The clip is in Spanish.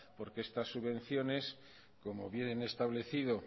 porque estas subvenciones como bien he establecido